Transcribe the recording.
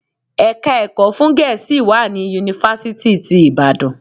Ẹ̀ka ẹ̀kọ́ fún Gẹ̀ẹ́sì wà ní Yunifásítì ti Ìbàdàn.